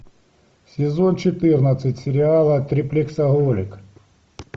сезон четырнадцать сериала триплексоголик